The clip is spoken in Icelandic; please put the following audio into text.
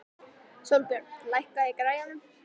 Sólbjörn, lækkaðu í græjunum.